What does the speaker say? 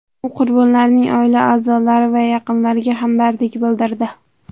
U qurbonlarning oila a’zolari va yaqinlariga hamdardlik bildirdi.